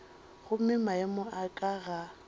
gomme maemo a ka ga